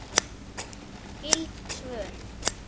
Skyld svör